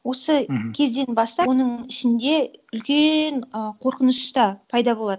осы кезден бастап оның ішінде үлкен і қорқыныш та пайда болады